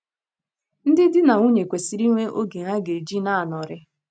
Ndị dị na nwunye kwesịrị inwe oge ha ga - eji na - anọrị.